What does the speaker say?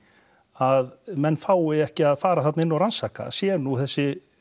að menn fái ekki að fara þarna inn og rannsaka séu nú þessi